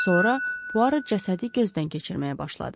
Sonra Puaro cəsədi gözdən keçirməyə başladı.